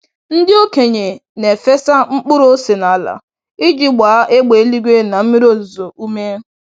Ndị okenye na-efesa mkpụrụ ose n'ala iji gbaa égbè eluigwe na mmiri ozuzo ume.